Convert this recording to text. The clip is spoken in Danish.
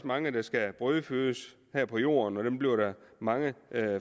mange der skal brødfødes her på jorden og dem bliver der mange